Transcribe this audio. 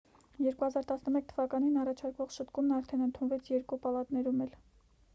2011 թվականին առաջարկվող շտկումն արդեն ընդունվեց երկու պալատներում էլ